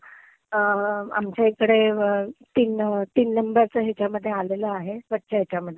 यांच्या इकडे तीन तीन नंबरचं ह्याच्यामदधे आलेला आहे स्वच्छ ह्याच्यामधे.